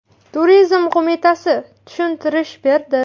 Turizm qo‘mitasi tushuntirish berdi.